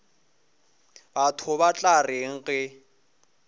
batho ba tla reng ge